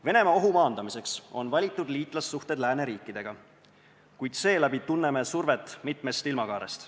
Venemaalt lähtuva ohu maandamiseks on valitud liitlassuhted lääneriikidega, kuid seeläbi tunneme survet mitmest ilmakaarest.